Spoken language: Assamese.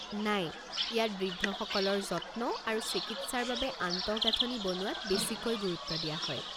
নাই, ইয়াত বৃদ্ধসকলৰ যত্ন আৰু চিকিৎসাৰ বাবে আন্তঃগাঁথনি বনোৱাত বেছিকৈ গুৰুত্ব দিয়া হয়।